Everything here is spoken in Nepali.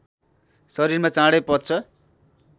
शरीरमा चाँडै पच्छ